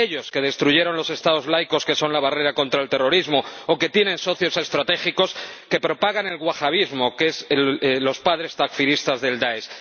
Ellos, que destruyeron los Estados laicos que son la barrera contra el terrorismo o que tienen socios estratégicos que propagan el wahabismo, que son los padres takfiristas del Dáesh.